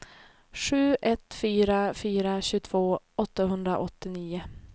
sju ett fyra fyra tjugotvå åttahundraåttionio